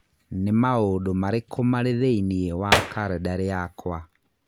Nĩ maũndũ marĩkũ marĩ thĩinĩ wa kalendarĩ yakwa?